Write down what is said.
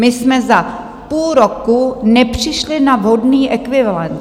My jsme za půl roku nepřišli na vhodný ekvivalent.